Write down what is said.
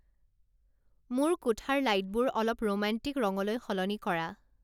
মোৰ কোঠাৰ লাইটবোৰ অলপ ৰোমান্টিক ৰঙলৈ সলনি কৰা